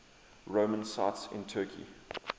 roman sites in turkey